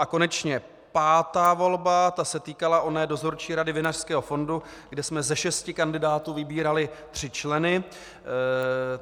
A konečně pátá volba, ta se týkala oné Dozorčí rady Vinařského fondu, kde jsme ze šesti kandidátů vybírali tři členy.